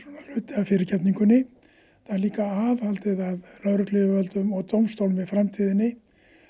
af fyrirgefningunni en líka aðhaldið að lögregluyfirvöldum og dómstólum í framtíðinni